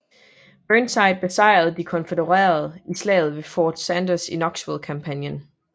Burnside besejrede de konfødererede i Slaget ved Fort Sanders i Knoxville kampagnen